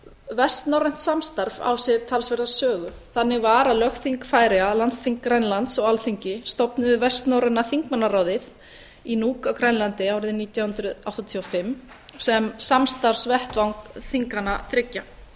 vestnorrænt samstarf á sér talsverða sögu þannig var að lögþing færeyja landsþing grænlands og alþingi stofnuðu vestnorræna þingmannaráðið í nuuk á grænlandi árið nítján hundruð áttatíu og fimm sem samstarfsvettvang þinganna þriggja